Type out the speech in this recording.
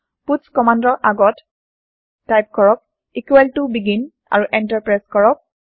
পাটছ কমান্দৰ আগত টাইপ কৰক বেগিন আৰু এন্টাৰ প্ৰেছ কৰক